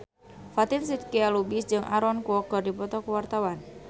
Fatin Shidqia Lubis jeung Aaron Kwok keur dipoto ku wartawan